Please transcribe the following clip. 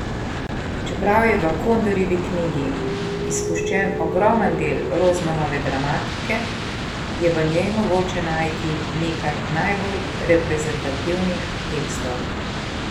Čeprav je v Kondorjevi knjigi izpuščen ogromen del Rozmanove dramatike, je v njej mogoče najti nekaj najbolj reprezentativnih tekstov.